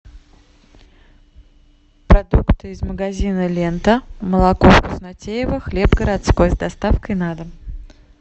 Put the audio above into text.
продукты из магазина лента молоко вкуснотеево хлеб городской с доставкой на дом